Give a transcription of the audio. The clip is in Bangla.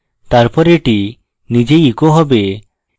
তারপর এটি নিজেই echo হবে